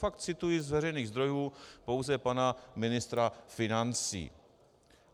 Fakt cituji z veřejných zdrojů pouze pana ministra financí.